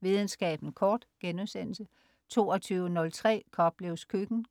Videnskaben kort* 22.03 Koplevs Køkken*